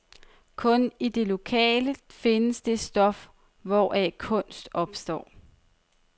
Kun i det lokale findes det stof, hvoraf kunst opstår.